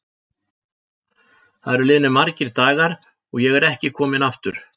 Það eru liðnir margir dagar og ég er ekki kominn aftur.